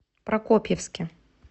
прокопьевске